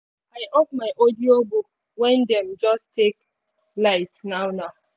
i off my audiobook when them just take light now now